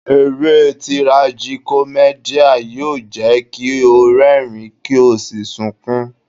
Eré Tirajikọ́mẹ́dì yóò jẹ́ kí o rẹ́rìń, kí o sì sunkún.